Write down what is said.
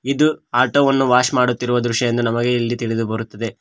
ಇದು ಆಟೋ ವನ್ನು ವಾಶ್ ಮಾಡುತ್ತಿರುವ ದೃಶ್ಯ ಎಂದು ನಮಗೆ ಇಲ್ಲಿ ತಿಳಿದು ಬರುತ್ತದೆ.